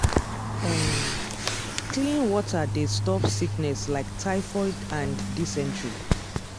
um clean water dey stop sickness like typhoid and dysentery.